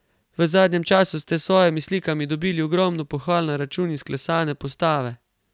V zadnjem času ste s svojimi slikami dobili ogromno pohval na račun izklesane postave.